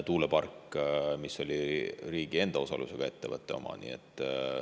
See park oli riigi enda osalusega ettevõtte oma.